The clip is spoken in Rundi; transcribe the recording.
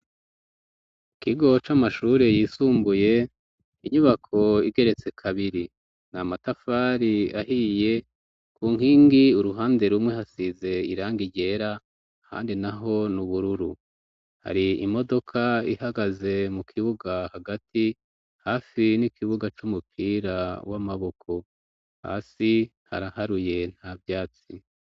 Ikigo c'amashure yisumbuye inyubako igeretse kabiri ni amatafari ahiye ku nkingi uruhande rumwe hasize iranga iryera handi na ho n'ubururu hari imodoka ihagaze mu kibuga hagati hafi n'ikibuga c'umuka era w' amaboko hasi ntaraharuye nta vyatsi.